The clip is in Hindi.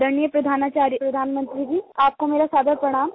आदरणीय प्रधानाचार्य प्रधानमंत्री जी आपको मेरा सादर प्रणाम